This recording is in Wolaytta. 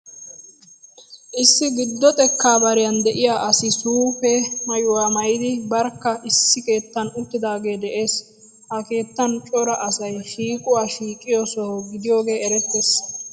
Issi giddo xekka bariyan de'iya asi suufe maayuwa maayidi barkka issi keettan uttidaagee de'ees. Ha keettan cora asay shiiquwa shiiqiyo soho gidiyogee erettees.